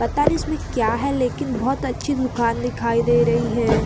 पता नहीं इसमें क्या है लेकिन बहोत अच्छी दुकान दिखाई दे रही है।